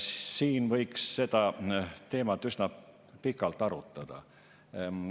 Siin võiks seda teemat üsna pikalt arutada.